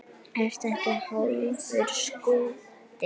Ertu ekki hálfur skoti?